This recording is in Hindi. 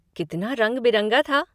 कितना रंग बिरंगा था।